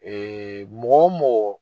mɔgɔ mɔgɔ